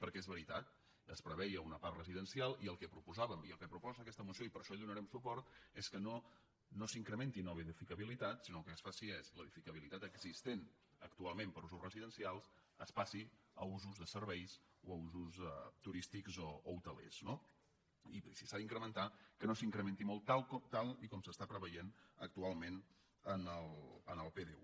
perquè és veritat es preveia una part residencial i el que proposàvem i el que proposa aquesta moció i per això hi donarem suport és que no s’incrementi nova edificabilitat si·nó que el que es faci és l’edificabilitat existent actual·ment per a usos residencials es passi a usos de serveis o a usos turístics o hotelers no i si s’ha d’incremen·tar que no s’incrementi molt tal com s’està preveient actualment en el pdu